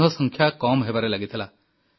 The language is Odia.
ସିଂହ ସଂଖ୍ୟା କମ୍ ହେବାରେ ଲାଗିଥିଲା